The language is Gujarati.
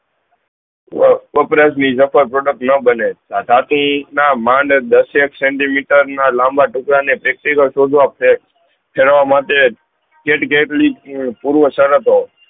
વપરાસ લીધા પર product ના બને માંડત દસ એક સેનટી મીટર ના લાંબા ટુકડા ને શોધવા છે ખેડવા માટે